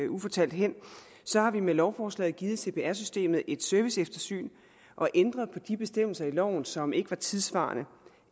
ufortalt hen har vi med lovforslaget givet cpr systemet et serviceeftersyn og ændret på de bestemmelser i loven som ikke var tidssvarende